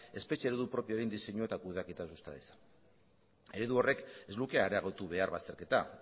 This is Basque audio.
espetxe eredu propioaren diseinua eta kudeaketa susta dezan eredu horrek ez luke areagotu behar bazterketa